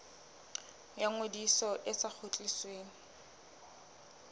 ya ngodiso e sa kgutlisweng